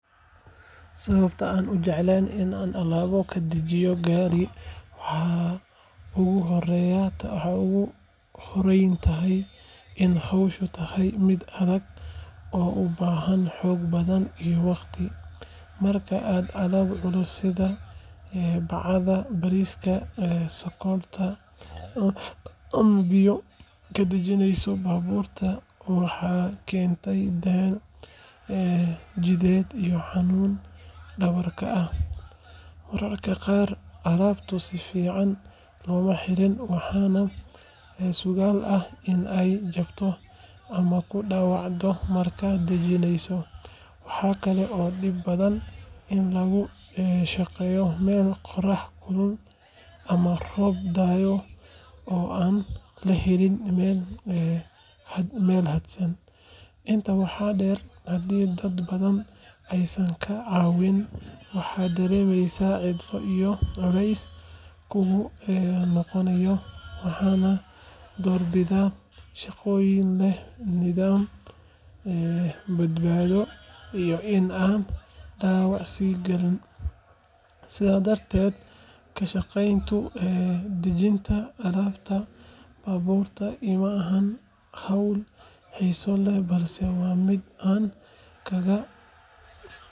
Sababaha aanan u jeclayn in aan alaab ka dajiyo gaari waxay ugu horreyn tahay in hawshu tahay mid adag oo u baahan xoog badan iyo waqti. Marka aad alaab culus sida bacaha bariiska, sonkorta ama biyo ka dejinayso baabuur, waxay keentaa daal jidheed iyo xanuun dhabarka ah. Mararka qaar, alaabtu si fiican looma xirin waxaana suuragal ah in ay jabto ama ku dhaawacdo markaad dejinayso. Waxaa kale oo dhib badan in lagu shaqeeyo meel qorrax kulul ama roob da’ayo oo aan la helin meel hadhsan. Intaa waxaa dheer, hadii dad badan aysan kaa caawin, waxaad dareemaysaa cidlo iyo culays kugu noqonaya. Waxaan doorbidaa shaqooyin leh nidaam, badbaado iyo in aanan dhaawac is galin. Sidaa darteed, ka shaqaynta dejinta alaabta baabuurka iima ahan hawl xiiso leh balse waa mid aan kaga.